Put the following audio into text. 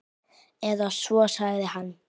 Eða svo sagði hann.